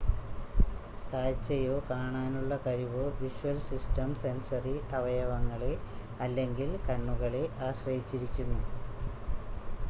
കാഴ്ചയോ കാണാനുള്ള കഴിവോ visual system sensory അവയവങ്ങളെ അല്ലെങ്കിൽ കണ്ണുകളെ ആശ്രയിച്ചിരിക്കുന്നു